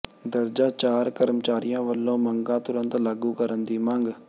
ਦਰਜਾ ਚਾਰ ਕਰਮਚਾਰੀਆਂ ਵੱਲੋਂ ਮੰਗਾਂ ਤੁਰੰਤ ਲਾਗੂ ਕਰਨ ਦੀ ਮੰਗ